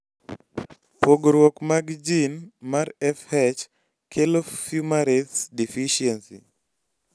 pogruok mag jin mar FH kelo Fumarace deficiency